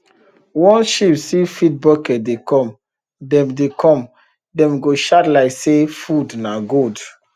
once sheep see feed bucket dey come dem dey come dem go shout like say food na gold